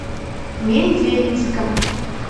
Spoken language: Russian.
мензелинском